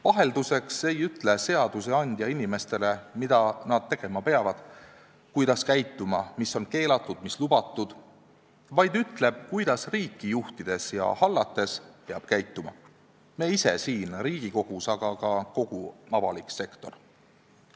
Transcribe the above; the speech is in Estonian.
Vahelduseks ei ütle seadusandja inimestele, mida nad peavad tegema ja kuidas käituma, mis on keelatud ja mis lubatud, vaid ütleb, kuidas riiki juhtides ja hallates peame käituma meie ise siin Riigikogus ja kuidas peab käituma ka kogu avalik sektor.